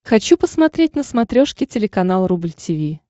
хочу посмотреть на смотрешке телеканал рубль ти ви